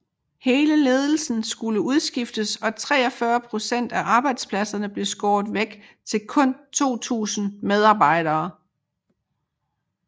Hele ledelsen skulle udskiftes og 43 procent af arbejdspladserne blev skåret væk til kun 2000 medarbejdere